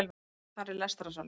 Þar er lestrarsalur